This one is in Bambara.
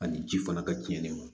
Ani ji fana ka cɛnni ma